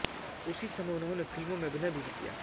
उसी समय उन्होंने फिल्मों में अभिनय भी किया